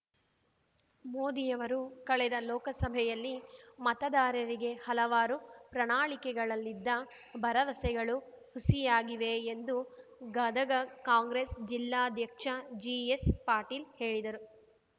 ಮೋದಿಯವರು ಕಳೆದ ಲೋಕಸಭೆಯಲ್ಲಿ ಮತದಾರರಿಗೆ ಹಲವಾರು ಪ್ರಣಾಳಿಕೆಯಲ್ಲಿದ್ದ ಭರವಸೆಗಳು ಹುಸಿಯಾಗಿವೆ ಎಂದು ಗದಗ ಕಾಂಗ್ರೆಸ್ ಜಿಲ್ಲಾಧ್ಯಕ್ಷ ಜಿಎಸ್ ಪಾಟೀಲ್ ಹೇಳಿದರು